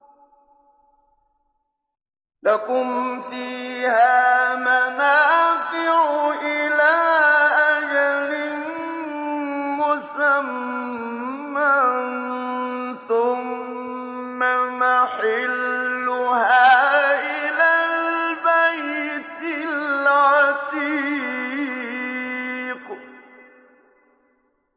لَكُمْ فِيهَا مَنَافِعُ إِلَىٰ أَجَلٍ مُّسَمًّى ثُمَّ مَحِلُّهَا إِلَى الْبَيْتِ الْعَتِيقِ